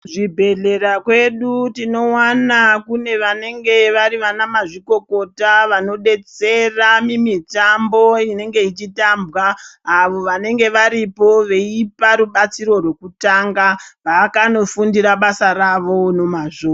Kuzvibhedhlera kune vanhu vanenge vari anamazvikokota vanobetsera mumitambo inenge ichitambwa avo vanenge varipo veipa rubatsiro rwekutanga vakanofundira basa ravo nemazvo.